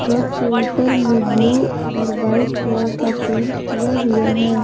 Truck के ऊपर में ब्लू और वाइट कलर का पेंट किया हुआ है।